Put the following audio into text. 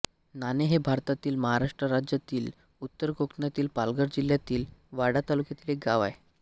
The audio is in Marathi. नाणे हे भारतातील महाराष्ट्र राज्यातील उत्तर कोकणातील पालघर जिल्ह्यातील वाडा तालुक्यातील एक गाव आहे